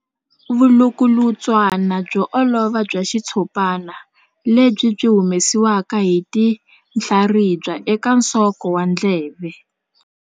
Vulukulutswana byo olova bya xitshopana lebyi byi humesiwaka hi tinhlaribya eka nsoko wa ndleve.